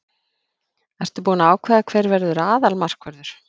Ertu búinn að ákveða hver verður aðalmarkvörður?